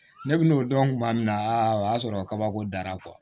Ne bi n'o dɔn kuma min na o y'a sɔrɔ kabako dara